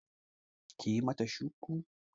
Kiyi mata shuku